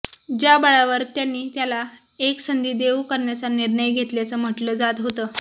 ज्या बळावर त्यांनी त्याला एक संधी देऊ करण्याचा निर्णय घेतल्याचं म्हटलं जात होतं